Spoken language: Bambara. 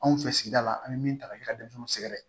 Anw fɛ sigida la an bɛ min ta ka yira denmisɛnninw sɛgɛrɛ